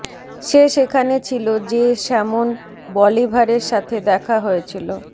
সে সেখানে ছিল যে সেমন বলিভারের সাথে দেখা হয়েছিল